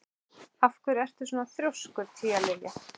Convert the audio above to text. Af hverju ertu svona þrjóskur, Tíalilja?